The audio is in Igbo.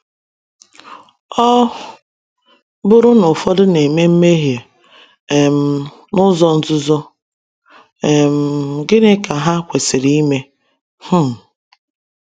Ọ bụrụ na ụfọdụ na-eme mmehie um n’uzo nzuzo, um gịnị ka ha kwesịrị ime? um